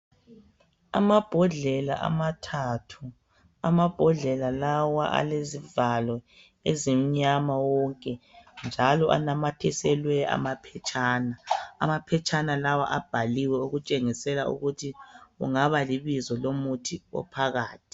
Amabhodlela amathathu. Amabhodlela lawa alezivalo ezimnyama wonke, njalo anamathiselwe wamaphetshana. Amaphetshana lawa abhaliwe okutshengisela ukuthi kungaba libizo lomuthi ophakathi.